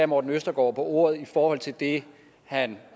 morten østergaard på ordet i forhold til det han